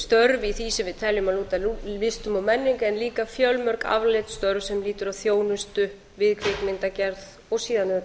störf í því sem við teljum að lúti að listum og menningu en líka fjölmörg afleidd störf sem lýtur að þjónustu við kvikmyndagerð og síðan auðvitað